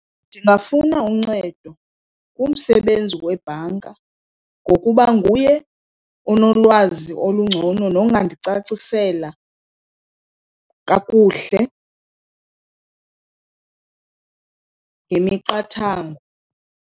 Ndingafuna uncedo kumsebenzi webhanka ngokuba nguye onolwazi olungcono nongandicacisela kakuhle ngemiqathango.